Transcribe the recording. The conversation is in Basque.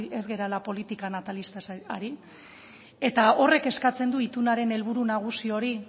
ez garela politika natalistaz ari eta horrek eskatzen du itunaren helburu nagusi hori